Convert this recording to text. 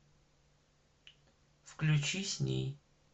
включи с ней